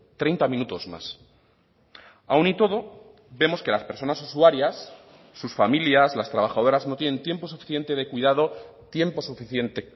treinta minutos más aún y todo vemos que las personas usuarias sus familias las trabajadoras no tienen tiempo suficiente de cuidado tiempo suficiente